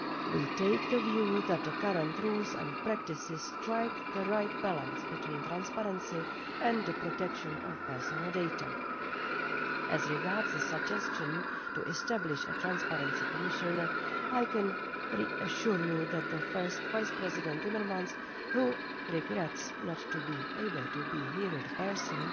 We take the view that the current rules and practices strike the right balance between transparency and the protection of personal data. As regards the suggestion to establish the post of Transparency Commissioner, I can assure you that First Vice-President Timmermans, who regrets he is unable to be here in person,